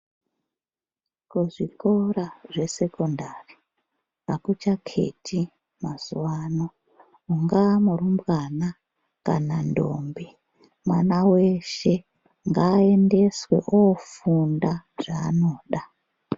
Kuzvikora zvesekondari akuchakheti mazuwa ano ungaa murumbwana kana ndombi. Mwana weshe ngaendeswe ofunda zvaanoda.